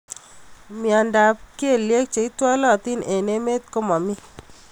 Mnyendo ab kelyek cheitwalatin eng emet komami.